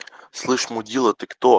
слышь